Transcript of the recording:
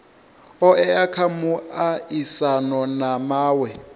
oea kha muaisano na mawe